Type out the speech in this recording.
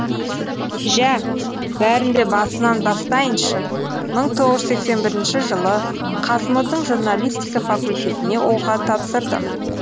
жә бәрін де басынан бастайыншы мың тоғыз жүз сексен бірінші жылы қазму дің журналистика факультетіне оқуға тапсырдым